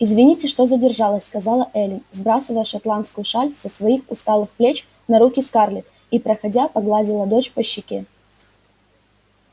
извините что задержалась сказала эллин сбрасывая шотландскую шаль со своих усталых плеч на руки скарлетт и проходя погладила дочь по щеке